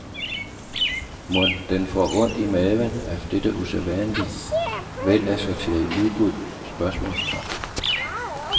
Mon den får ondt i maven af dette usædvanlig velassorterede udbud? spørgsmålstegn